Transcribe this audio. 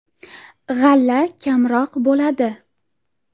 “G‘alla kamroq bo‘ladi.